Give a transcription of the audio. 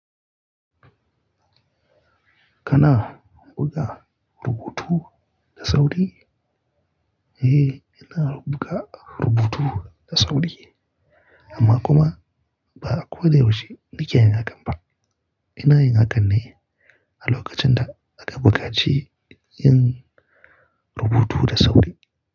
Kana buga rubutu da sauri? Eh, ina buga rubutu da sauri amma kuma ba a ko da yaushe nake yin hakan ba. Ina yin hakan ne a lokacin da aka buƙaci yin rubutu da sauri.